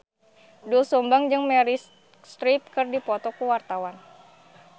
Doel Sumbang jeung Meryl Streep keur dipoto ku wartawan